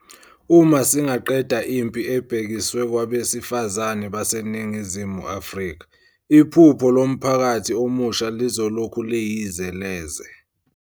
Uma singaqeda impi ebhekiswe kwabesifazane baseNingizimu Afrika, iphupho lomphakathi omusha lizolokhu liyize leze.